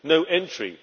no entry